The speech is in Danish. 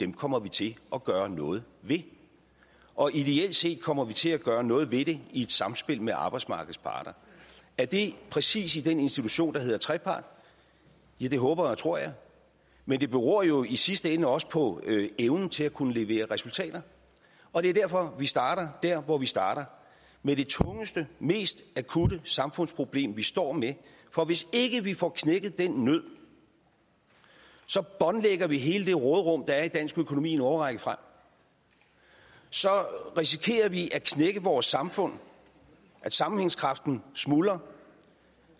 kommer vi til at gøre noget ved og ideelt set kommer vi til at gøre noget ved det i et samspil med arbejdsmarkedets parter er det præcis i den institution der hedder trepart ja det håber og tror jeg men det beror jo i sidste ende også på evnen til at kunne levere resultater og det er derfor vi starter der hvor vi starter med det tungeste mest akutte samfundsproblem vi står med for hvis ikke vi får knækket den nød båndlægger vi hele det råderum der er i dansk økonomi en årrække frem så risikerer vi at knække vores samfund at sammenhængskraften smuldrer